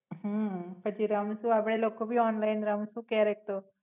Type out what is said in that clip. હમ પછી રમશું આપડે લોકો ભી ઓનલાઇન રમશું ક્યારે તો